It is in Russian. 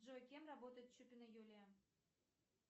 джой кем работает чупина юлия